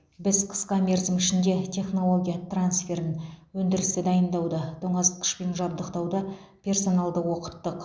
біз қысқа мерзім ішінде технология трансферін өндірісті дайындауды тоңазытқышпен жабдықтауды персоналды оқыттық